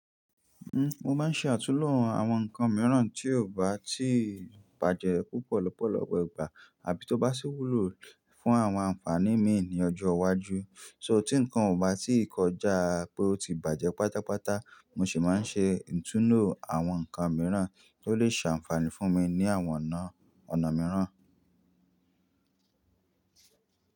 Mo máa ń ṣe àtúlò àwọn nǹkan mìíràn tí ò bá tí bàjẹ́ púpọ̀ lọ́pọ̀lọpọ̀ igbà, àbí tó bá ṣí wúlò fún àwọn àǹfààní mi ní ọjọ́ iwájú. So tí nǹkan ò bá tí ì kọjá pé ó ti bàjẹ́ pátápátá, mo ṣi máa ń ṣe ìtúno àwọn nǹkan mìíràn tí ó lè ṣe ànfaní fún mi ní àwọn ọ̀nà, ọ̀nà mìíràn.